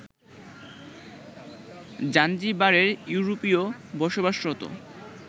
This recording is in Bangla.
জাঞ্জিবারের ইউরোপীয় বসবাসরত